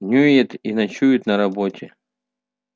днюет и ночует на работе